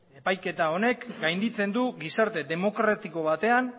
epaiketa honek gainditzen du gizarte demokratiko batean